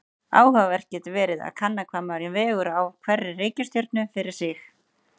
Áhugavert getur verið að kanna hvað maður vegur á hverri reikistjörnu fyrir sig.